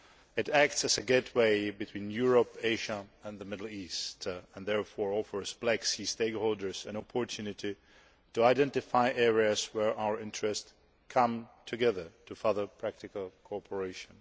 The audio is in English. It acts as a gateway between Europe, Asia and the Middle East and therefore offers Black Sea stakeholders an opportunity to identify areas where our interests come together to further practical cooperation.